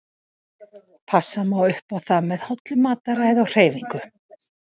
Passa má upp á það með hollu mataræði og hreyfingu.